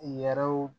Yɛrɛw